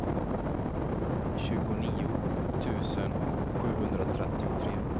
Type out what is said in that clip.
tjugonio tusen sjuhundratrettiotre